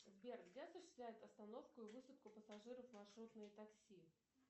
сбер где осуществляет остановку и высадку пассажиров маршрутное такси